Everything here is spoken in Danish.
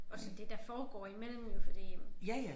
Og så det der foregår imellem jo fordi men